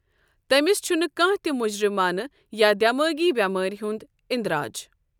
تمِس چُھنہٕ کانٛہہ تہٕ مُجزِمانہٕ یا دٮ۪مٲغی بیٚمارِ ہُنٛد اندراج ۔